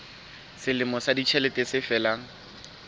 selemo sa ditjhelete se felang